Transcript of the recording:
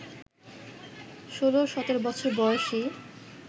ষোল সতেরো বছর বয়সী